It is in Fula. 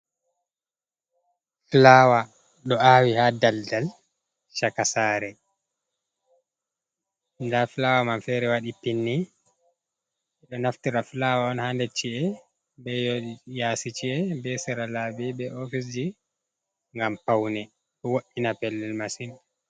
Fulawa ɗo awi ha ɗalɗal chaka sare. Nɗa fulawa man fere waɗi pinni. Ɓe ɗo naftira fulawa on ha nɗer chi’e, ɓe yasi ci’e, ɓe sera laɓi, ɓe ofis ji, ngam paune. Ɗo wo’’ina pellel masin.